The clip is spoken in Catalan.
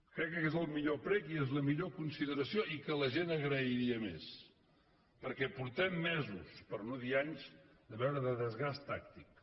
crec que és el millor prec i la millor consideració i que la gent agrairia més perquè fa mesos per no dir anys que veiem desgast tàctic